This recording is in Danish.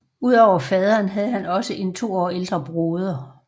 Ud over faderen havde han også en to år ældre broder